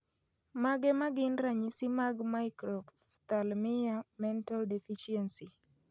Mage magin ranyisi mag Microphthalmia mental deficiency